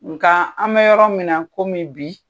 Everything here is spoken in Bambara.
Nkaa an bɛ yɔrɔ min na komi bi